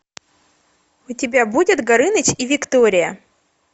у тебя будет горыныч и виктория